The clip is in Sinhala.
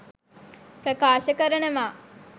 ප්‍රකාශ කරනවා.